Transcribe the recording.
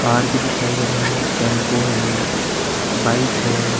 Car भी दिखाई दे रहा है टेम्पू है बाइक है।